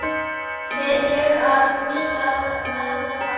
Tel ég bústað vera það.